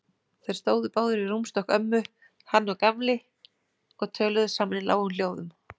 Þeir stóðu báðir við rúmstokk ömmu, hann og Gamli, og töluðu saman í lágum hljóðum.